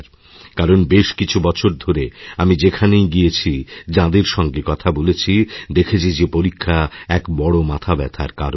কারণ বেশ কিছু বছর ধরে আমিযেখানেই গিয়েছি যাঁদের সঙ্গে কথা বলেছি দেখেছি যে পরীক্ষা এক বড় মাথাব্যথারকারণ